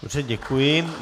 Dobře, děkuji.